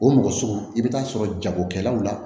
O mɔgɔ sugu i bɛ taa sɔrɔ jagokɛlaw la